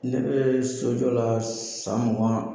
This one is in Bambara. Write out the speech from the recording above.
Ne bɛ sojɔ la san mugan